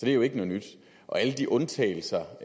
er jo ikke noget nyt alle de undtagelser